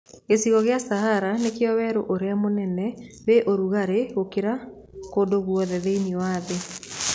Gĩcigo gĩa cahara nĩkĩo werũũrĩa mũnene wĩ rugarĩ gũkĩra kũndũguothe thĩiniĩ wa thĩ.